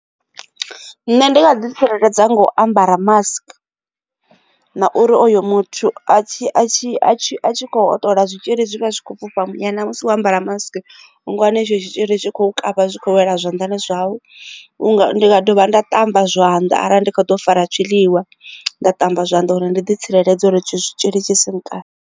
Nṋe ndi nga ḓi tsireledza nga u ambara mask na uri oyo muthu a tshi a tshi kho hoṱola zwitzhili zwi vha zwi kho fhufha muyani na musi wo ambara mask unga wana itsho tshitzhili tshi kho kavha zwi khou wela zwanḓani zwau nda dovha nda ṱamba zwanda arali ndi kho ḓo fara tshiḽiwa nda ṱamba zwanḓa uri ndi ḓi tsireledza uri tshitzhili tshi si n kavhe.